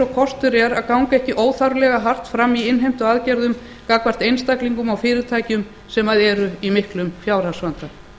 og kostur er að ganga ekki óþarflega hart fram í innheimtuaðgerðum gagnvart einstaklingum og fyrirtækjum sem eru í miklum fjárhagsvanda